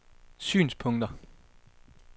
synspunkter